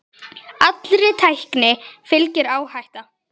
Allri tækni fylgir áhætta.